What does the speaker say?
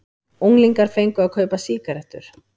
Unglingar fengu að kaupa sígarettur